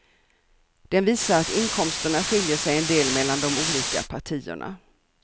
Den visar att inkomsterna skiljer sig en del mellan de olika partierna.